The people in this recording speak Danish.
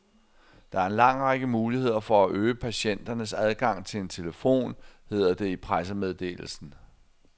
Der er en lang række muligheder for at øge patienternes adgang til en telefon, hedder det i pressemeddelelsen.